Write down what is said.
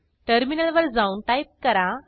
टर्मिनलवर जाऊन टाईप करा